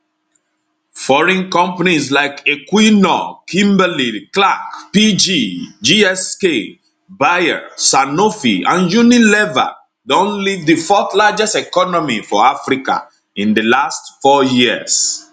foreign companies like equinor kimberlyclark pg gsk bayer sanofi and unilever don leave di fourthlargest economy for africa in di last four years